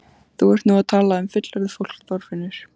Þú ert nú að tala um fullorðið fólk, Þorfinnur!